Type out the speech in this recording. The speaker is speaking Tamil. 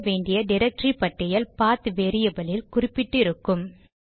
தேட வேண்டிய டிரக்டரி பட்டியல் பாத்PATH வேரியபில் இல் குறிப்பிட்டு இருக்கும்